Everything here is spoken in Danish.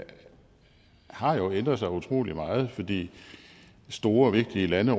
har jo ændret sig utrolig meget fordi store vigtige lande